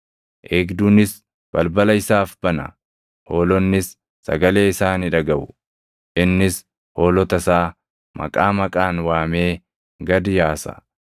Eegduunis balbala isaaf bana; hoolonnis sagalee isaa ni dhagaʼu. Innis hoolota isaa maqaa maqaan waamee gad yaasa.